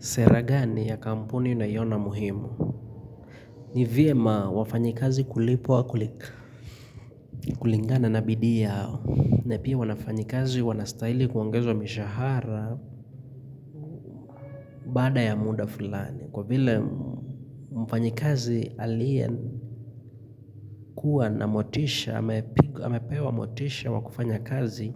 Sera gani ya kampuni unaiona muhimu. Nivyema wafanyikazi kulipwa kulingana na bidii yao. Na pia wanafanyikazi wanastahili kuongezwa mishahara baada ya muda fulani. Kwa vile mfanyikazi aliye kuwa na motisha, amepewa motisha wa kufanya kazi.